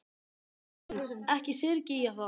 Drottinn minn, ekki syrgi ég það.